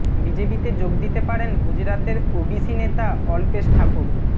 বিজেপিতে যোগ দিতে পারেন গুজরাতের ওবিসি নেতা অল্পেশ ঠাকুর